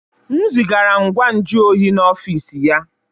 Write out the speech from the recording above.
M zigara ngwa nju oyi n'ọfịs ya